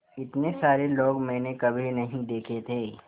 इतने सारे लोग मैंने कभी नहीं देखे थे